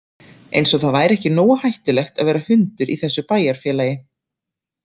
Eins og það væri ekki nógu hættulegt að vera hundur í þessu bæjarfélagi.